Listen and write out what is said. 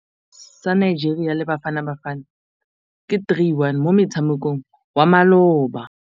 Sekôrô sa Nigeria le Bafanabafana ke 3-1 mo motshamekong wa malôba.